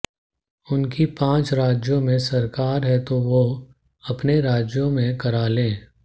उनकी पांच राज्यों में सरकार है तो वो अपने राज्यों में करा लें